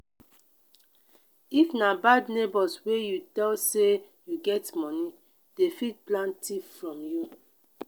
if na bad neighbors wey you tell say you get money dem fit plan thief from you